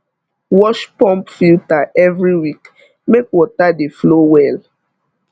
wash pump filter every week make water dey flow well